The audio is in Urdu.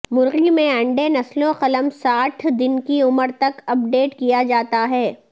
مرگی میں انڈے نسلوں قلم ساٹھ دن کی عمر تک اپ ڈیٹ کیا جاتا ہے